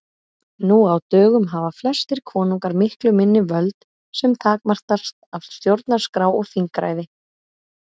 Nú á dögum hafa flestir konungar miklu minni völd sem takmarkast af stjórnarskrá og þingræði.